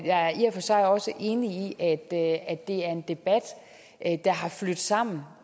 jeg er i og for sig også enig i at det er en debat der har flydt sammen